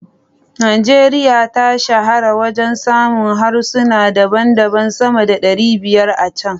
Najeriya ta shahara wajen samun harsuna daban-daban sama da 500 a can.